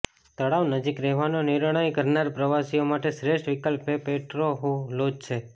તળાવ નજીક રહેવાનો નિર્ણય કરનાર પ્રવાસીઓ માટે શ્રેષ્ઠ વિકલ્પ એ પેટ્રોહ્યુ લોજ છે